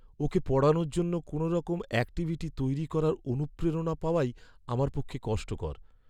ওকে পড়ানোর জন্য কোনওরকম অ্যাক্টিভিটি তৈরি করার অনুপ্রেরণা পাওয়াই আমার পক্ষে কষ্টকর।